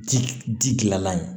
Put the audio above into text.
Ji ji dilanlan ye